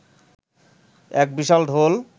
এক বিশাল ঢোল